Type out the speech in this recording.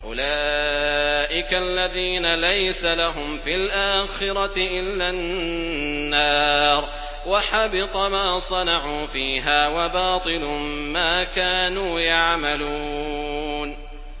أُولَٰئِكَ الَّذِينَ لَيْسَ لَهُمْ فِي الْآخِرَةِ إِلَّا النَّارُ ۖ وَحَبِطَ مَا صَنَعُوا فِيهَا وَبَاطِلٌ مَّا كَانُوا يَعْمَلُونَ